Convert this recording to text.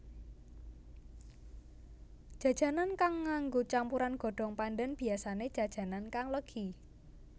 Jajanan kang nganggo campuran godhong pandan biyasané jajanan kang legi